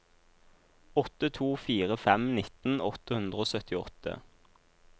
åtte to fire fem nitten åtte hundre og syttiåtte